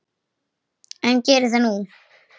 En geri það nú.